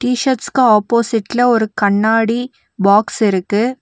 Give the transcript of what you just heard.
டிஷர்ட்ஸ்க்கு ஆப்போசிட்ல ஒரு கண்ணாடி பாக்ஸ் இருக்கு.